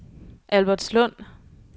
Albertslund